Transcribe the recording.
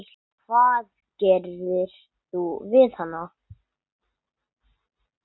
Hvað gerðir þú við hana?